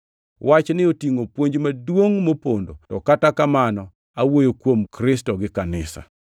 Wachni otingʼo puonj maduongʼ mopondo to kata kamano awuoyo kuom Kristo gi Kanisa.